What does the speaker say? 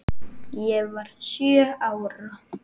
Ég var sjö ára.